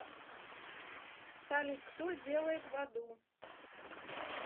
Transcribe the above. салют кто делает в аду